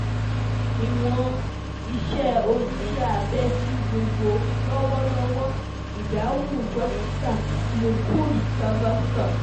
Iwon ise onise abe ti gbogbo lọwọlọwọ, Idahun Dokita Mukund Savaskar